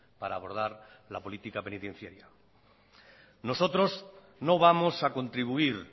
para abordar la política penitenciaria nosotros no vamos a contribuir